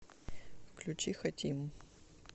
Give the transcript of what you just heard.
включи хотим